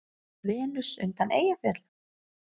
Venus undan Eyjafjöllum?